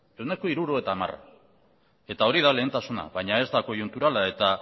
ehuneko hirurogeita hamara eta hori da lehentasuna baina ez da koiunturala eta